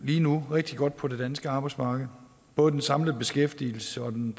lige nu rigtig godt på det danske arbejdsmarked både den samlede beskæftigelse og den